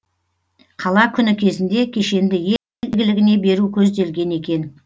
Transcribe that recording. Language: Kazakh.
қала күні кезінде кешенді ел игілігіне беру көзделген екен